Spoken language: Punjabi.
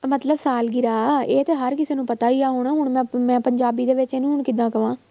ਮਤਲਬ ਸਾਲਗਿਰਾਹ ਇਹ ਤਾਂ ਹਰ ਕਿਸੇੇ ਨੂੰ ਪਤਾ ਹੀ ਆ ਹੁਣ, ਹੁਣ ਮੈਂ ਮੈਂ ਪੰਜਾਬੀ ਦੇ ਵਿੱਚ ਇਹਨੂੰ ਹੁਣ ਕਿੱਦਾਂ ਕਵਾਂ